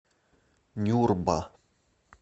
нюрба